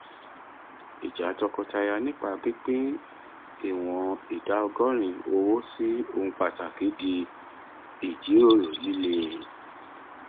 ìjà tọkọtaya nípa pípín ìwọn ìdá ọgọrin owó sí ohun pàtàkì di ìjíròrò líle